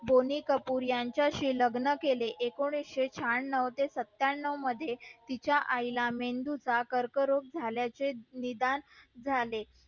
कपूर यांच्या शी लग्न केले एकोणीशे शहाणव ते सत्यानव मध्ये तिच्या आई ला मेंदू चा कर्क रोग झाल्याचे निदान झाले